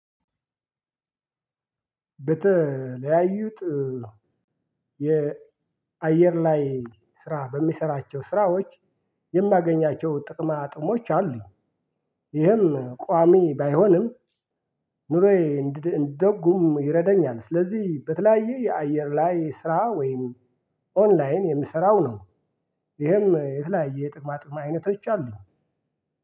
በተለያዩት የአየር ላይ ስራ በሚሰራቸው ስራዎች የማገኛቸው ጥቅማ ጥቅሞች አሉኝ። ይህም ቋሚ ባይሆንም ኑሮዬ እንድደጉም ይረደኛል። ስለዚህ በተለያየ የአየር ላይ ስራ ወይም ኦንላይን የምሰራው ነው። ይሄም የተለያየ ጥቅማ ጥቅም አይነቶች አሉ።